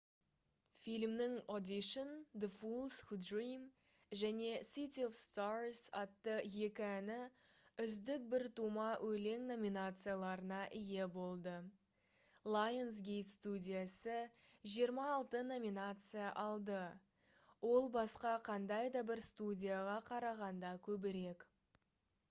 фильмнің audition the fools who dream және city of stars атты екі әні «үздік біртума өлең» номинацияларына ие болды. lionsgate студиясы 26 номинация алды - ол басқа қандай да бір студияға қарағанда көбірек